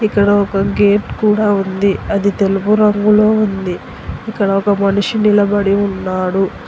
ఇక్కడ ఒక గేట్ కూడా ఉంది అది తెలుగు రంగులో ఉంది ఇక్కడ ఒక మనిషి నిలబడి ఉన్నాడు.